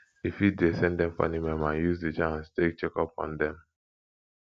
you fit dey send them funny meme and use the chance take check up on them